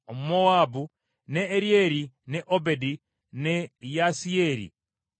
ne Eryeri, ne Obedi ne Yaasiyeri Omumezoba.